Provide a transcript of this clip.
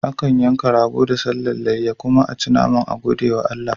Akan yanka rago da sallan layya kuma aci naman ayi godiya ga Allah